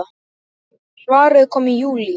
Svarið kom í júlí.